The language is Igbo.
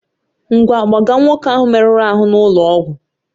Ngwa, gbaga nwoke ahụ merụrụ ahụ n'ụlọ ọgwụ!